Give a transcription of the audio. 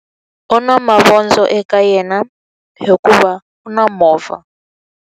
U na mavondzo eka yena hikuva u na movha.